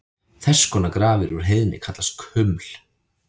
Þess konar grafir úr heiðni kallast kuml.